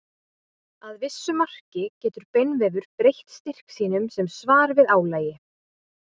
Að vissu marki getur beinvefur breytt styrk sínum sem svar við álagi.